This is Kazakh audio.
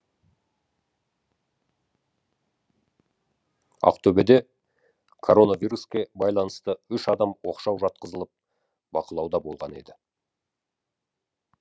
ақтөбеде коронавируске байланысты үш адам оқшау жатқызылып бақылауда болған еді